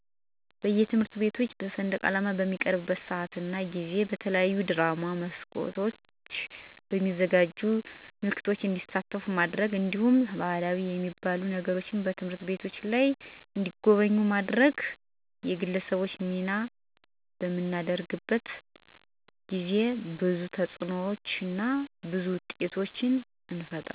በየትምህርት ቤቶች በሰንደቃላማ በሚሰቀልበት ስአት እና ጊዜ በተለያዩ ድራማ መልኮች በማዘጋጀት ምልክቱ እንዲተላለፍ ማድረግ። እንዲሁም ባህላዊ የሚባሉ ነገሮችን በትምህርት ቤቶች ላይ እንዲጎበኙ ማድረግ ማድረግ። የግለሰቦች ሚና በምናገኝበት አጋጣሚ ጥሩ እና በህላችን የማይረሱ ምክረ አዘል ወጎችን ማስተላለፍ